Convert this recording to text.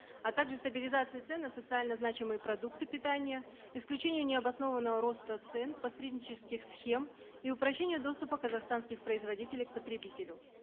а также стабилизации цен на социально значимые продукты питания исключению необоснованного роста цен посреднических схем и упрощению доступа казахстанских производителей к потребителю